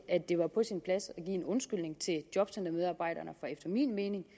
at det var på sin plads at give en undskyldning til jobcentermedarbejderne for efter min mening